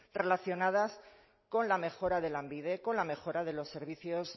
relacionadas con la mejora de lanbide con la mejora de los servicios